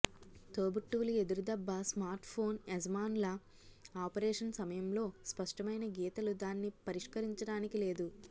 తోబుట్టువుల ఎదురుదెబ్బ స్మార్ట్ఫోన్ యజమానుల ఆపరేషన్ సమయంలో స్పష్టమైన గీతలు దాన్ని పరిష్కరించడానికి లేదు